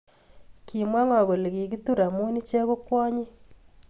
Kimw ngo kole kikitur amu iche ko kwonyik